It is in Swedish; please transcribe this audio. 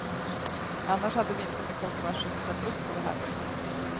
Annars hade vi inte med kort varsel ställt upp på det här mötet.